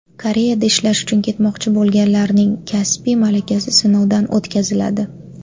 Koreyada ishlash uchun ketmoqchi bo‘lganlarning kasbiy malakasi sinovdan o‘tkaziladi.